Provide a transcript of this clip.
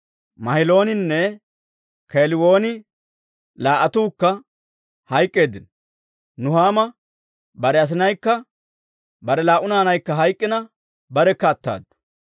Mahilooninne Keeliwooninne laa"attuukka hayk'k'eeddino. Nuhaama bare asinaykka bare laa"u naanaykka hayk'ina barekka attaddu.